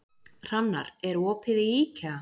Hrannar, er opið í IKEA?